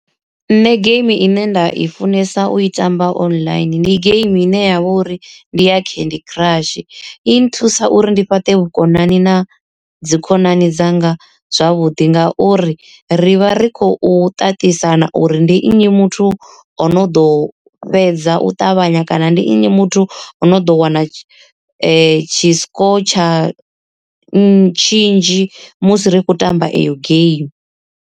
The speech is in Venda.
Nṋe geimi ine nda i funesa u i tamba online ndi geimi ine ya vha uri ndi ya candy crush, i nthusa uri ndi fhaṱe vhukonani na dzi khonani dzanga zwavhuḓi nga uri ri vha ri khou ṱaṱisana uri, ndi nnyi muthu o no ḓo fhedza u ṱavhanya kana ndi nnyi muthu ono ḓo wana tshi tshi score tsha tshinzhi musi ri tshi khou tamba iyo geimi.